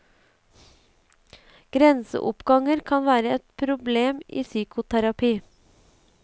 Grenseoppganger kan være et problem i psykoterapi.